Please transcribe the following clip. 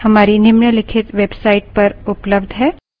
अधिक जानकारी हमारी निम्नलिखित वेबसाइट